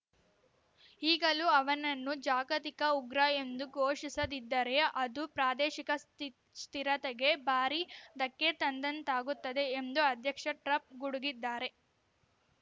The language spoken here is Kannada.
ಈಗಲೂ ಅವನನ್ನು ಜಾಗತಿಕ ಉಗ್ರ ಎಂದು ಘೋಷಿಸದಿದ್ದರೆ ಅದು ಪ್ರಾದೇಶಿಕ ಸ್ಥಿರತೆಗೆ ಭಾರೀ ಧಕ್ಕೆ ತಂದಂತಾಗುತ್ತದೆ ಎಂದು ಅಧ್ಯಕ್ಷ ಟ್ರಂಪ್ ಗುಡುಗಿದ್ದಾರೆ